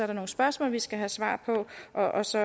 der nogle spørgsmål vi skal have svar på og så